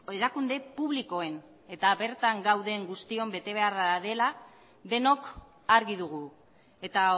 erakunde publikoen eta bertan gauden guztion betebeharra dela denok argi dugu eta